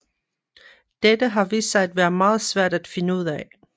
Dette har vist sig at være meget svært at finde ud af